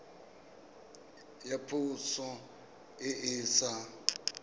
ya poso e e sa